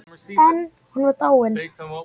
En hún var dáin.